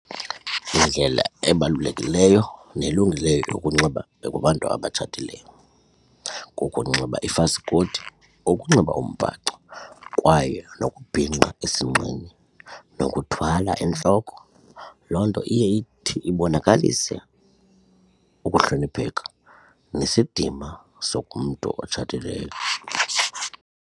Yindlela ebalulekileyo nelungileyo yokunxiba kubantu abatshatileyo, kukunxiba ifaskoti ukunxiba umbhaco kwaye nokubhinqa esinqeni nokuthwala entloko. Loo nto iye ithi ibonakalise ukuhlonipheka nesidima sokomntu otshatileyo.